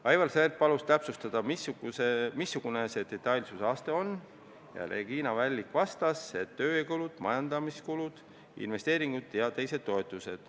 Aivar Sõerd palus täpsustada, missugune see detailsuse aste on, ja Regina Vällik vastas, et on tööjõukulud, majandamiskulud, investeeringud ja teised toetused.